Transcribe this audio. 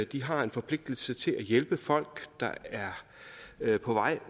de har en forpligtelse til at hjælpe folk der er på vej